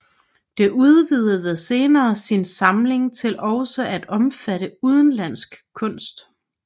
Det udvidede senere sin samling til også at omfatte udenlandsk kunst